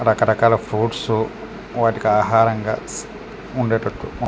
రకరకాల ఫ్రూట్స్ వాటికి ఆహారంగా ఇస్ ఉండేటటు .